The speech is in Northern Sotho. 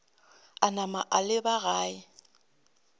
a napa a leba gae